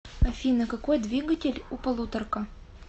афина какой двигатель у полуторка